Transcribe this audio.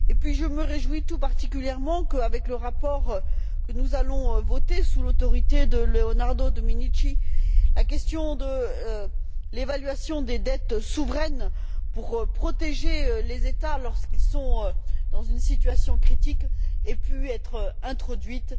Puis, je me réjouis tout particulièrement que, avec le rapport que nous allons voter sous l'autorité de Leonardo Domenici, la question de l'évaluation des dettes souveraines pour protéger les États, lorsqu'ils sont dans une situation critique, ait pu être introduite.